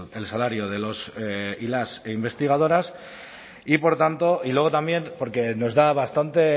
el salario de los y las investigadoras y por tanto y luego también porque nos da bastante